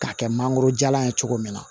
K'a kɛ mangoro jalan ye cogo min na